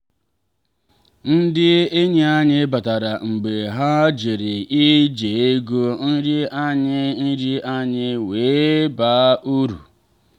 ndị enyi anyị batara mgbe ha jere ije ego nri anyị nri anyị wee baa uru.